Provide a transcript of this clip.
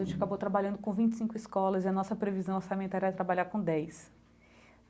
A gente acabou trabalhando com vinte e cinco escolas e a nossa previsão orçamentária era trabalhar com dez.